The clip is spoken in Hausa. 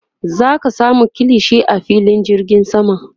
zaka samu kilishi a filin jirgin sama